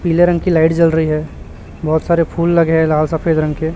पीले रंग की लाइट जल रही है बहोत सारे फूल लगे हैं लाल सफेद रंग के।